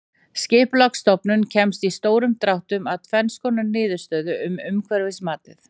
Skipulagsstofnun komst í stórum dráttum að tvenns konar niðurstöðu um umhverfismatið.